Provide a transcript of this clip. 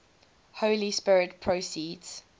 holy spirit proceeds